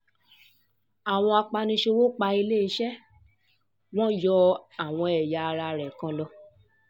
àwọn apaniṣòwò pa eléeṣẹ́ wọn yọ àwọn ẹ̀yà ara rẹ̀ kan lọ